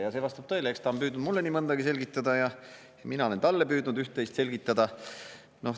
Ja see vastab tõele: eks ta on püüdnud mulle nii mõndagi selgitada ja mina olen talle püüdnud üht-teist selgitada.